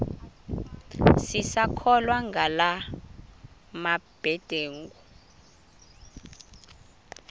sisakholwa ngala mabedengu